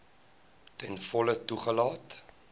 ten volle toegelaat